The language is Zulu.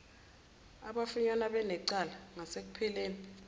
abafunyanwa benecala ngasekupheleni